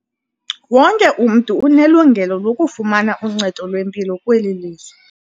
Wonke umntu unelungelo lokufumana uncedo lwempilo kweli lizwe.